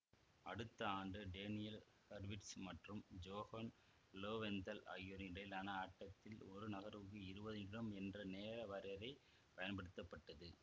அடுத்த ஆண்டு Daniel Harwitz மற்றும் ஜோஹன் லோவெந்தால் ஆகியோருக்கு இடையிலான ஆட்டத்தில் ஒரு நகர்வுக்கு இருவது நிமிடங்கள் என்ற நேர வரையறை பயன்படுத்தப்பட்டது